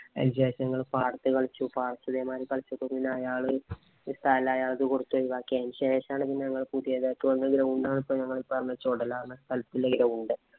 അതിനുശേഷം ഞങ്ങൾ പാടത്ത് കളിച്ചു. പാടത്ത് മാതിരി കളിച്ചപ്പോൾ പിന്നെ അയാൾ സ്ഥലം അയാള് കൊടുത്തു. ബാക്കി അതിനുശേഷമാണ് പിന്നെ ഞങ്ങള് പുതിയതായിട്ട് വന്ന ground ആണ് ഇപ്പം ഞങ്ങള് പറഞ്ഞ ചൊടല എന്ന സ്ഥലത്തുള്ള ground.